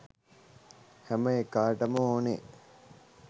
හැම එකාටම ඕනේ